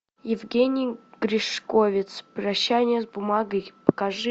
евгений гришковец прощание с бумагой покажи